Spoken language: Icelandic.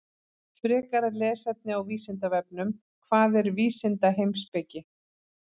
Frekara lesefni á Vísindavefnum: Hvað er vísindaheimspeki?